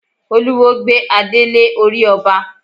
Olúwo gbé adé lé orí ọba.